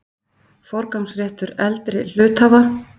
Forgangsréttur eldri hluthafa.